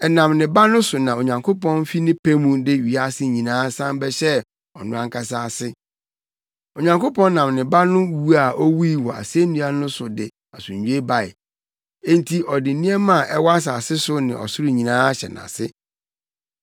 Ɛnam ne Ba no so na Onyankopɔn fi ne pɛ mu de wiase nyinaa san bɛhyɛɛ ɔno ankasa ase. Onyankopɔn nam ne Ba no wu a owui wɔ asennua so no de asomdwoe bae, enti ɔde nneɛma a ɛwɔ asase so ne ɔsoro nyinaa ahyɛ nʼase.